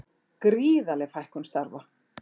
Gríðarleg fækkun starfa